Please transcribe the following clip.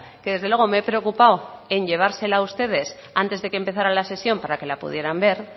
que desde luego me he preocupado en llevársela a ustedes antes de que empezara la sesión para que la pudieran ver